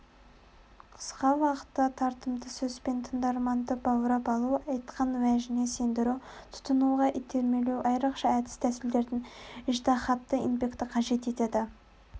қысқа уақытта тартымды сөзбен тыңдарманды баурап алу айтқан уәжіңе сендіру тұтынуға итермелеу айрықша әдіс-тәсілдерді ыждаһатты еңбекті қажет етеді